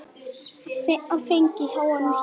Fengið háan hita.